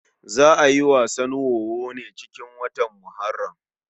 Za a yi wasan wowo ne kurum cikin watan Muharram.